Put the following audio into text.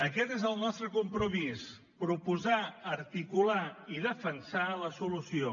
aquest és el nostre compromís proposar articular i defensar la solució